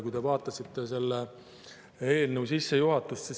Vaadake selle eelnõu sissejuhatust.